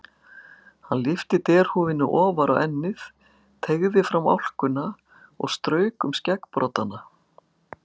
Hann lyfti derhúfunni ofar á ennið, teygði fram álkuna og strauk um skeggbroddana.